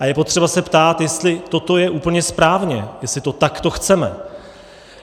A je potřeba se ptát, jestli toto je úplně správně, jestli to takto chceme.